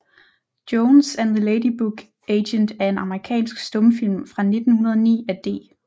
Jones and the Lady Book Agent er en amerikansk stumfilm fra 1909 af D